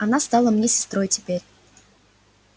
она стала мне сестрой теперь